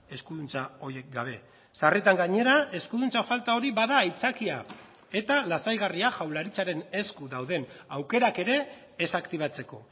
eskuduntza horiek gabe sarritan gainera eskuduntza falta hori bada aitzakia eta lasaigarria jaurlaritzaren esku dauden aukerak ere ez aktibatzeko